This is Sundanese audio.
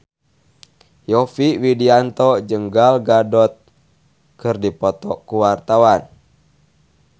Yovie Widianto jeung Gal Gadot keur dipoto ku wartawan